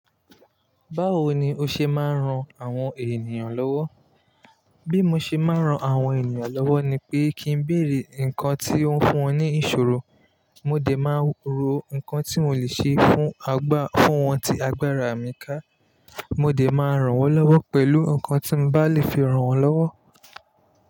Báwo ni o ṣe máa ń ran àwọn ènìyàn lọ́wọ́? Bí mo ṣe máa ń ran àwọn ènìyàn lọ́wọ́ ni pé kí n béèrè nǹkan tí ó ń fún wọn ní ìṣòro, mo dè máa rò nǹkan tí mo lè ṣe fún àgbá, fún wọn tí agbára mi ká. Mo lè máa ràn wọ́n lọ́wọ́ pẹ̀lú nǹkan tí mo bá lè fi ràn wọ́n lọ́wọ́.